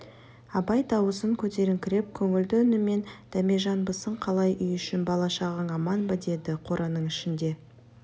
абай дауысын көтеріңкіреп көңілді үнімен дәмежанбысың қалай үй ішің бала-шағаң аман ба деді жабық қораның ішінде